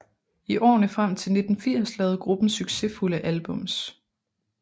I årene frem til 1980 lavede gruppen succesfulde albums